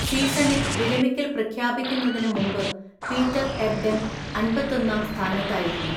സീസണിൽ വിരമിക്കൽ പ്രഖ്യാപിക്കുന്നതിന് മുമ്പ് പീറ്റർ എബ്ഡൺ അന്‍പത്തൊന്നാം സ്ഥാനത്തായിരുന്നു.